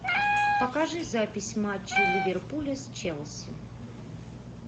покажи запись матча ливерпуля с челси